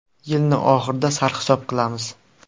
Yilni oxirida sarhisob qilamiz.